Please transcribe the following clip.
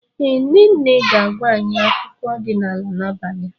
Ee, nne nne ga-agwa anyị akụkọ ọdịnala n'abalị a.